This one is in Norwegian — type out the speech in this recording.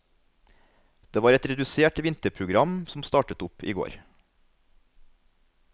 Det var et redusert vinterprogram som startet opp i går.